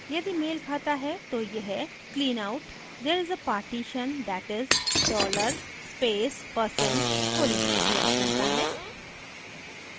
यदि मेल खाता है तो यह clean out there s a partition that is $dollar space % full prints करता है